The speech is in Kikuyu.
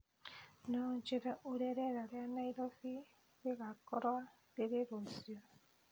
no ũnjĩĩre ũrĩa rĩera rĩa Nairobi rĩgaakorũo rĩrĩ rũciũ